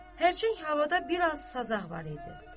Hərçənd havada bir az sazaq var idi.